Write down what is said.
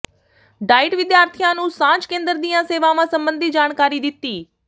diet ਵਿਦਿਆਰਥੀਆਂ ਨੂੰ ਸਾਂਝ ਕੇਂਦਰ ਦੀਆਂ ਸੇਵਾਵਾਂ ਸਬੰਧੀ ਜਾਣਕਾਰੀ ਦਿੱਤੀ